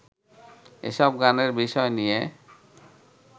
এসব গানের বিষয় নিয়ে